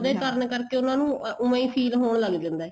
ਉਹਦੇ ਕਾਰਨ ਕਰਕੇ ਉਹਨਾ ਨੂੰ ਉਵੇ ਹੀ feel ਹੋਣ ਲੱਗ ਜਾਂਦਾ ਏ